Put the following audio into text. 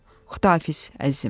Xudahafiz, əzizim.